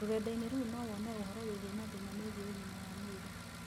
Rũrendainĩ rou no wone ũhoro wĩgie mathĩna megie ũgima wa mwĩrĩ.